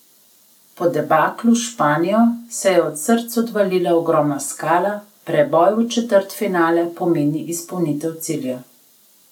Po debaklu s Španijo se je od src odvalila ogromna skala, preboj v četrtfinale pomeni izpolnitev cilja.